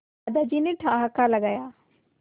दादाजी ने ठहाका लगाया